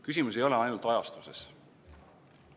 Küsimus ei ole ainult ajastuses.